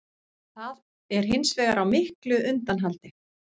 Það er hins vegar á miklu undanhaldi